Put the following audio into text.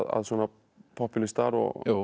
popúlistar og